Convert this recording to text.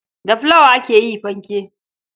Da fulawa aka yi fanke.